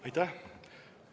Aitäh!